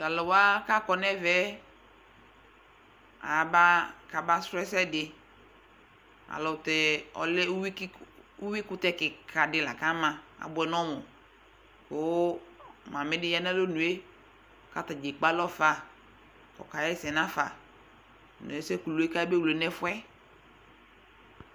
Tʋ alʋ wa kʋ akɔ nʋ ɛvɛ yɛ, aba kabasʋ ɛsɛ dɩ Alʋtɛ ɔlɛ uyui kɩk uyuikʋtɛ kɩka dɩ la kʋ ama Abʋɛ nʋ ɔmʋ kʋ mamɩ dɩ ya nʋ alɔnu yɛ kʋ ata dza ekpe alɔ fa kʋ ɔkaɣa ɛsɛ nafa nʋ ɛsɛ kulu yɛ bʋa kʋ ayabewle nʋ ɛfʋ yɛ